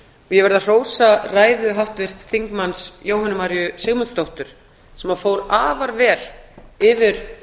ég verð að hrósa ræðu háttvirts þingmanns jóhönnu maríu sigmundsdóttur sem fór afar vel yfir